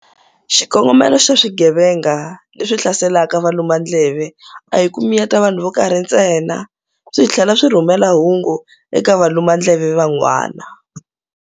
Xikongomelo xa swigevenga leswi hlaselaka valumandleve a hi ku miyeta vanhu vo karhi ntsena - swi tlhela swi rhumela hungu eka valumandleve van'wana.